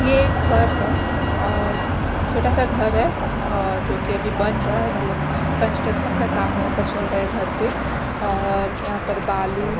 यह एक घर है और छोटा सा घर है और जो की बन रहा है मतलब कंस्ट्रक्शन का काम यहां पर चल रहा है घर पे और यहां पर बालू--